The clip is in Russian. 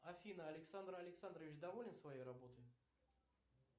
афина александр александрович доволен своей работой